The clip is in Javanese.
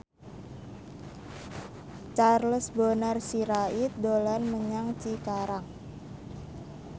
Charles Bonar Sirait dolan menyang Cikarang